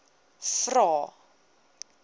vvvvrae